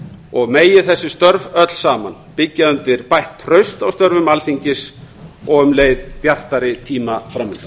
og megi þess störf öll saman byggja undir bætt traust á störfum alþingis og um leið bjartari tíma framundan